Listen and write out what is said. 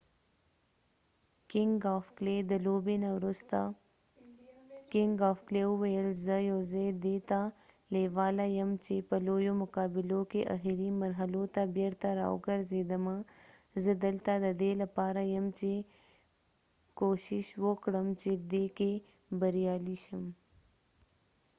د لوبې نه وروسته کنګ اف کلی king of clay وويل زه یواځی دي ته لیواله یمه چې په لويو مقابلو کې اخری مرحلو ته بیرته راوګرځیدمه . زه دلته ددې لپاره یم چې کوښښ وکړم چې دي کې بریالی شم.